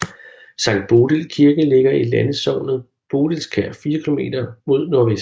Sankt Bodil Kirke ligger i landsognet Bodilsker 4 km mod nordvest